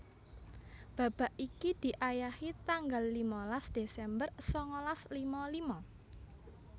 Babak iki diayahi tanggal limalas Desember sangalas lima lima